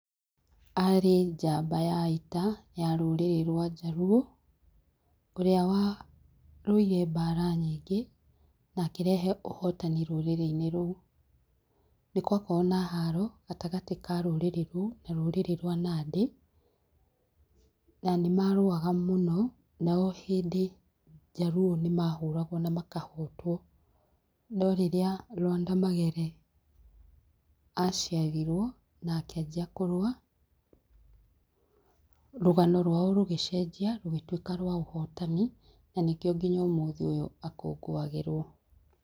Arĩ njamba ya ita ya rũrĩrĩ rwa Jaluo ũrĩa warũire mbara nyingĩ na akĩrehe ũhotani rũrĩrĩ-inĩ rũu. Nĩ gwakoragwo na haro gatagatĩ ka rũrĩrĩ rũu na rũrĩrĩ rwa Nandĩ, na nĩ marũaga mũno na ohĩndĩ njaluo nĩ mahũragwo na makahotwo no rĩrĩa Lwanda Magere aciarirwo na akĩanjia kũrũa rũgano rwao rũgĩcenjia rũgĩtuĩka rwa ũhotani na nĩkĩo nginya ũmũthĩ ũyũ akũngũagĩrwo.